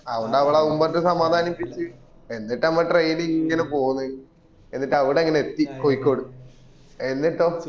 അതോണ്ട് അവളാ അതും പറഞ് സമാധാനിപ്പിച് എന്നിട്ട് നമ്മ train ഇങ്ങന പോന്ന എന്നിട്ട് അവിട അങ്ങന എത്തി കോയിക്കോട്